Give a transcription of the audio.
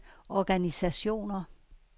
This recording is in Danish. organisationer